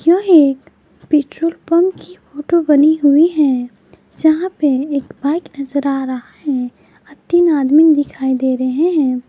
यह एक petrol pump की फोटो बनी हुई है जहां पे एक बाइक नजर आ रहा है और तीन आदमी भी दिखाई दे रहे हैं।